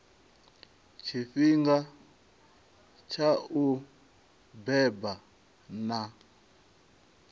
tshifhinga tsha u beba na